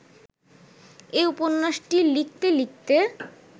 এ উপন্যাসটি লিখতে লিখতে